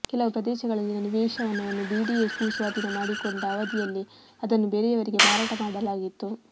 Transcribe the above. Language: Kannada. ಕೆಲವು ಪ್ರದೇಶಗಳಲ್ಲಿನ ನಿವೇಶನವನ್ನು ಬಿಡಿಎ ಭೂಸ್ವಾಧೀನ ಮಾಡಿಕೊಂಡ ಅವಧಿಂುುಲ್ಲೇ ಅದನ್ನು ಬೇರೆಂುುವರಿಗೆ ಮಾರಾಟ ಮಾಡಲಾಗಿತ್ತು